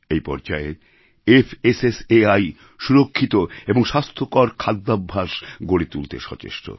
এই পর্যায়ে ফাসাই সুরক্ষিত এবং স্বাস্থ্যকর খাদ্যাভ্যাস গড়ে তুলতে সচেষ্ট